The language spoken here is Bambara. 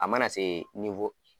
A mana se